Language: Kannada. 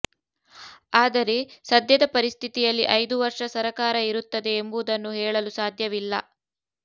ಆದರೆ ಸದ್ಯದ ಪರಿಸ್ಥಿತಿಯಲ್ಲಿ ಐದು ವರ್ಷ ಸರಕಾರ ಇರುತ್ತದೆ ಎಂಬುದನ್ನು ಹೇಳಲು ಸಾಧ್ಯವಿಲ್ಲ